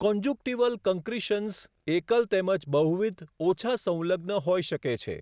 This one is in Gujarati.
કોન્જુક્ટીવલ કન્ક્રીશન્સ એકલ તેમજ બહુવિધ, ઓછા સંલગ્ન હોઈ શકે છે.